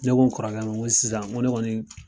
Ne ko n kɔrɔkɛ ma n ko sisan n ko ne kɔni.